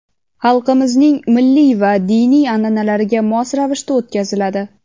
xalqimizning milliy va diniy an’analariga mos ravishda o‘tkaziladi.